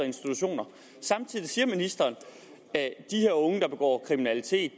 institutioner samtidig siger ministeren at de her unge der begår kriminalitet